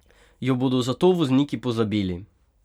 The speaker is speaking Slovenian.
Jo bodo zato vozniki pozabili?